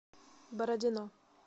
бородино